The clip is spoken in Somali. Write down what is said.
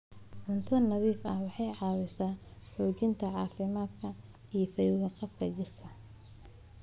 Cunto nadiif ah waxay caawisaa xoojinta caafimaadka iyo fayo-qabka jidhka.